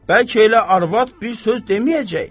Bəlkə elə arvad bir söz deməyəcək?